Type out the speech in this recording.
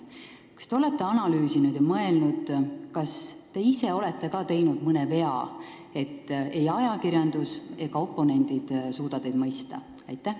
Kas te olete analüüsinud ja mõelnud, kas te ka ise olete teinud mõne vea, et ei ajakirjandus ega oponendid suuda teid mõista?